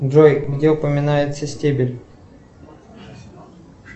джой где упоминается стебель